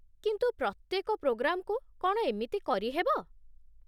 କିନ୍ତୁ ପ୍ରତ୍ୟେକ ପ୍ରୋଗ୍ରାମ୍‌କୁ କ'ଣ ଏମିତି କରିହେବ?